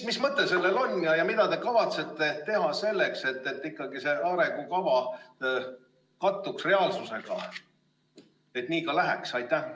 Mis mõte sellel on ja mida te kavatsete teha selleks, et see arengukava kattuks reaalsusega, et nii ka läheks?